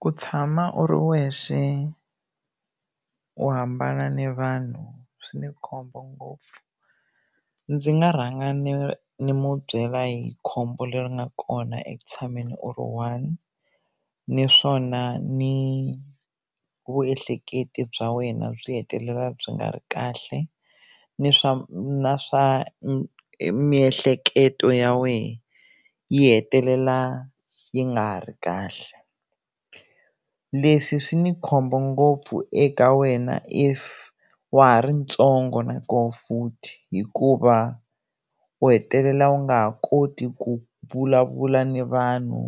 Ku tshama u ri wexe u hambana ni vanhu swi ni khombo ngopfu ndzi nga rhanga ni ni mu byela hi khombo leri nga kona eku tshameni u ri one naswona ni vuehleketi bya wena byi hetelela byi nga ri kahle ni swa na swa miehleketo ya wena yi hetelela yi nga ri kahle leswi swi ni khombo ngopfu eka wena if wa ha ri ntsongo nakona futhi hikuva u hetelela u nga ha koti ku vulavula na vanhu